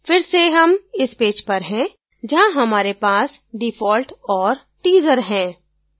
फिर से हम इस पेज पर हैं जहाँ हमारे पास default और teaser है